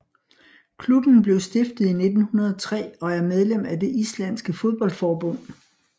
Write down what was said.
Klubben blev stiftet i 1903 og er medlem af det islandske fodboldforbund